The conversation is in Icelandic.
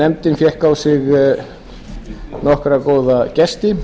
nefndin fékk til sín nokkra góða gesti